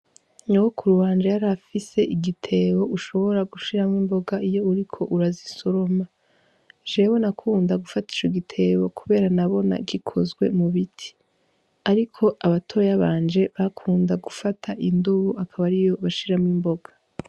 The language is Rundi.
Nyokuru wanje yarafise igitebo ushobora gushiramwo imboga iyo uriko urazisoroma jewe nakunda gufata ico gitebo kubera nabona gikozwe mu biti, ariko abatoya banje bakunda gufata i dubu akaba ariyo bashiramwo imboga.